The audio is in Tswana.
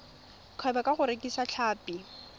kgwebo ka go rekisa tlhapi